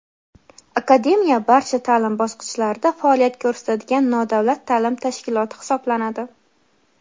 Akademiya barcha ta’lim bosqichlarida faoliyat ko‘rsatadigan nodavlat ta’lim tashkiloti hisoblanadi.